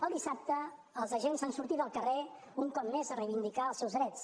el dissabte els agents han sortit al carrer un cop més a reivindicar els seus drets